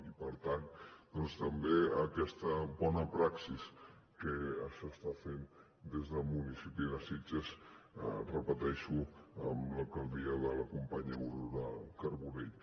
i per tant també aquesta bona praxi que s’està fent des del municipi de sitges ho repeteixo amb l’alcaldia de la companya aurora carbonell